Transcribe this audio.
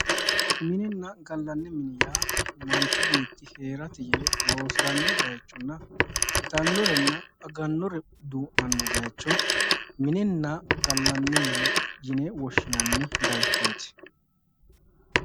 Mininna gallanni mini yaa Manchu beetti heerate yee loosiranno baychonna itannorenna agannore duu'nanno baycho mininna gallanni mini baycho yine woshshinanni